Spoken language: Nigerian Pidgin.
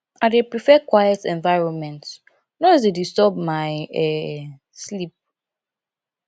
i dey prefer quiet environment noise dey disturb my um sleep